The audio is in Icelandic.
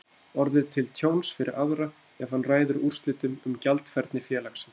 orðið til tjóns fyrir aðra ef hann ræður úrslitum um gjaldfærni félagsins.